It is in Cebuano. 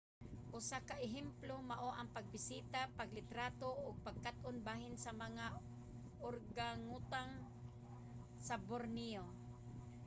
usa ka ehemplo mao ang pagbisita paglitrato ug pagkat-on bahin sa mga organgatuang sa borneo